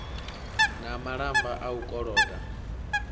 na malamba a u koloda